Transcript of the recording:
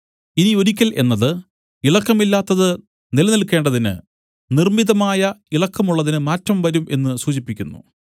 ഇനി ഒരിക്കൽ എന്നത് ഇളക്കമില്ലാത്തത് നിലനിൽക്കേണ്ടതിന് നിർമ്മിതമായ ഇളക്കമുള്ളതിന് മാറ്റം വരും എന്നു സൂചിപ്പിക്കുന്നു